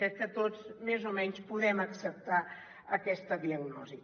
crec que tots més o menys podem acceptar aquesta diagnosi